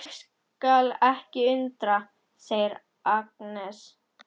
Mig skal ekki undra, segir Agnes.